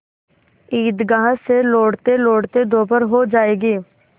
ईदगाह से लौटतेलौटते दोपहर हो जाएगी